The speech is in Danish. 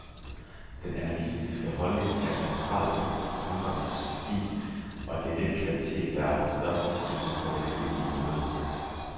Den anarkistiske holdning er et centralt punkt i punkernes stil, og det er den kvalitet, der har haft størst indflydelse på den almindelige mode.